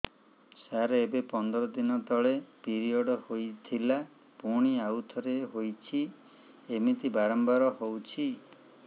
ସାର ଏବେ ପନ୍ଦର ଦିନ ତଳେ ପିରିଅଡ଼ ହୋଇଥିଲା ପୁଣି ଆଉଥରେ ହୋଇଛି ଏମିତି ବାରମ୍ବାର ହଉଛି